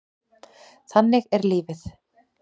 Þannig er lífið.